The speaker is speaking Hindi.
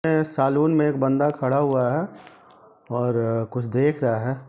ये सालून में एक बंदा खड़ा हुआ है और-- कुछ देख रहा है ।